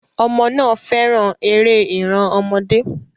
Ọmọ náà fẹ́ràn eré ìran ọmọdé.